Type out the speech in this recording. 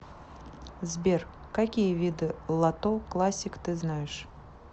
сбер какие виды лото классик ты знаешь